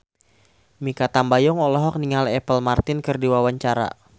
Mikha Tambayong olohok ningali Apple Martin keur diwawancara